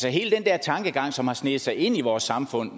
er hele den der tankegang som har sneget sig ind i vores samfund